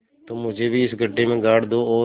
तुम मुझे भी इस गड्ढे में गाड़ दो और